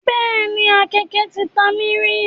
Bẹ́ẹ̀ni, àkéeke ti ta mí rí.